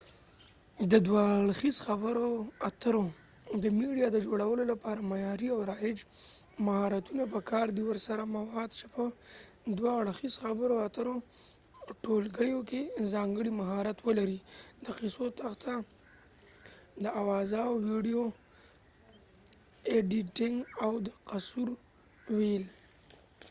د دوه اړخیز خبرو اترو د میډیا د جوړولو لپاره معیاری او رایج مهارتونه په کار دي ورسره مواد چې په دوه اړخیزو خبرو اترو ټولګیو کې ځانګړی مهارت ولري ، د قصو تخته ، د اوازاو ويديو ایديټنګ او د قصو ويل